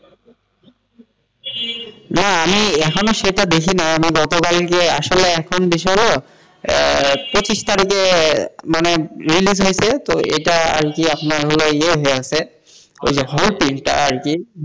না আমি এখনও সেটা দেখি নাই আমি যতো বার আসলে এখন বিষয়টা হলো পঁচিশ তারিখে release হয়েছে তো এটা আরকি হল আপনার hall print আরকি,